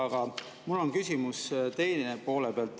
Aga mul on küsimus teise poole pealt.